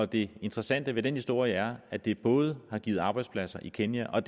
det interessante ved den historie er at det både har givet arbejdspladser i kenya og